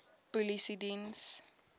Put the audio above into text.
polisiediens